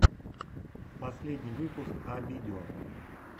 последний выпуск а видео